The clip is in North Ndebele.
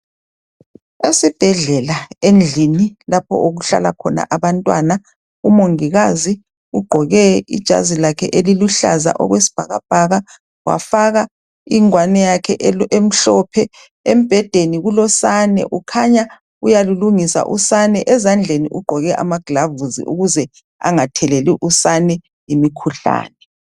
esibhedlela endlini lapho okuhlala khona abantwana umongikazi ugqoke ijazi lakhe elilombala oyisibhakabhaka wafaka ingwane yakhe emhlophe ebhedeni kukhanya kulosane uyalulungisa usane ezandleni ugqoke amaglavusi ukuze anagatheleli usane imikhuhlane